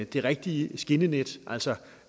det rigtige skinnenet altså